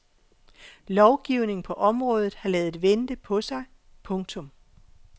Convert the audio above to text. Lovgivning på området har ladet vente på sig. punktum